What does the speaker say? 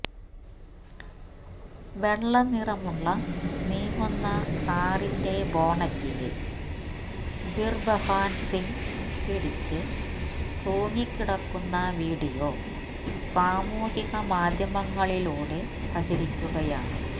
വെള്ളനിറമുള്ള നീങ്ങുന്ന കാറിന്റെ ബോണറ്റില് ബിര്ബഹാന് സിങ് പിടിച്ച് തൂങ്ങിക്കിടക്കുന്ന വീഡിയോ സാമൂഹികമാധ്യമങ്ങളിലൂടെ പ്രചരിക്കുകയാണ്